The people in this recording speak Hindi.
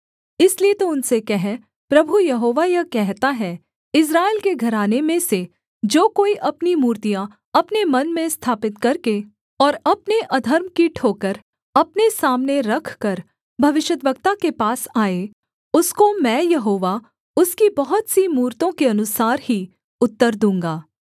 इसलिए तू उनसे कह प्रभु यहोवा यह कहता है इस्राएल के घराने में से जो कोई अपनी मूर्तियाँ अपने मन में स्थापित करके और अपने अधर्म की ठोकर अपने सामने रखकर भविष्यद्वक्ता के पास आए उसको मैं यहोवा उसकी बहुत सी मूरतों के अनुसार ही उत्तर दूँगा